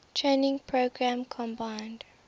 training program combined